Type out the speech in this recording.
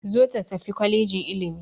Zo ta tafi kwalejin ilimi!